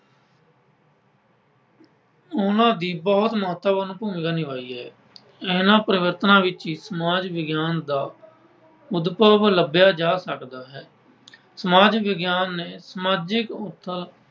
ਉਹਨਾਂ ਨੇ ਬਹੁਤ ਮਹੱਤਵਪੂਰਨ ਭੂਮਿਕਾ ਨਿਭਾਈ ਹੈ। ਇਨ੍ਹਾਂ ਪਰਿਵਰਤਨਾਂ ਵਿੱਚ ਹੀ ਸਮਾਜ ਵਿਗਿਆਨ ਦਾ ਅਨੁਭਵ ਲੱਭਿਆ ਜਾ ਸਕਦਾ ਹੈ। ਸਮਾਜ ਵਿਗਿਆਨ ਨੇ ਸਮਾਜਿਕ